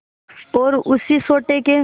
और उसी सोटे के